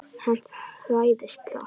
Hann hræðist það.